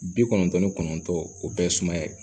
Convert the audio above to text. Bi kɔnɔntɔn ni kɔnɔntɔn o bɛɛ ye sumaya ye